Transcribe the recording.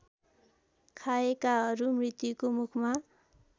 खाएकाहरू मृत्युको मुखमा